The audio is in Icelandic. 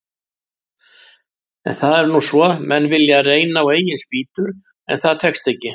En það er nú svo, menn vilja reyna á eigin spýtur, en það tekst ekki.